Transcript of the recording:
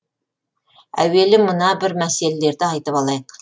әуелі мына бір мәселелерді айтып алайық